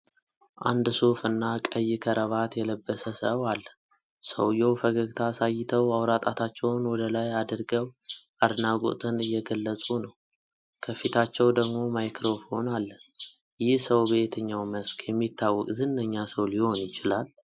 አንድ ሱፍ እና ቀይ ከረባት የለብሰ ሰው አለ። ሰውየው ፈገግታ አሳይተው አውራ ጣታቸውን ወደ ላይ አድርገው አድናቆትን እየገለጹ ነው። ከፊታቸው ደግሞ ማይክሮፎን አለ። ይህ ሰው በየትኛው መስክ የሚታወቅ ዝነኛ ሰው ሊሆን ይችላል?